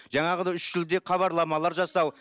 жаңағыдай үш тілде хабарламалар жасау